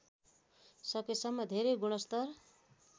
सकेसम्म धेरै गुणस्तर